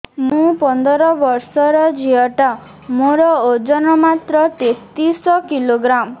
ମୁ ପନ୍ଦର ବର୍ଷ ର ଝିଅ ଟା ମୋର ଓଜନ ମାତ୍ର ତେତିଶ କିଲୋଗ୍ରାମ